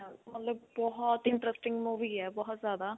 ਮਤਲਬ ਬਹੁਤ interesting movie ਹੈ ਬਹੁਤ ਜਿਆਦਾ